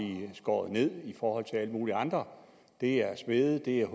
skåret ned i forhold til alle mulige andre det er smede det er